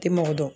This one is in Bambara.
Tɛ mɔgɔ dɔn